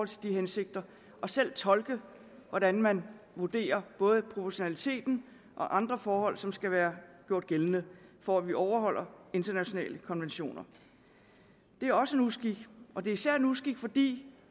til de hensigter og selv tolke hvordan man vurderer både proportionaliteten og andre forhold som skal være gjort gældende for at vi overholder internationale konventioner det er også en uskik og det er især en uskik fordi